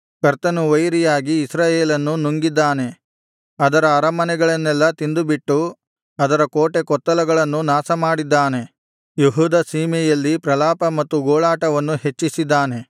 ಕರ್ತನು ವೈರಿಯಾಗಿ ಇಸ್ರಾಯೇಲನ್ನು ನುಂಗಿದ್ದಾನೆ ಅದರ ಅರಮನೆಗಳನ್ನೆಲ್ಲಾ ತಿಂದುಬಿಟ್ಟು ಅದರ ಕೋಟೆಕೊತ್ತಲಗಳನ್ನು ನಾಶಮಾಡಿದ್ದಾನೆ ಯೆಹೂದ ಸೀಮೆಯಲ್ಲಿ ಪ್ರಲಾಪ ಮತ್ತು ಗೋಳಾಟವನ್ನು ಹೆಚ್ಚಿಸಿದ್ದಾನೆ